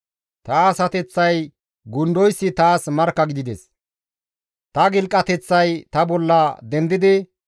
Ta asateththay gundoyssi ta bolla dendidi neni nagaranchcha giidi ta bolla markkattees.